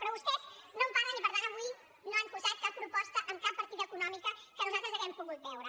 però vostès no en parlen i per tant avui no han posat cap proposta en cap partida econòmica que nosaltres hàgim pogut veure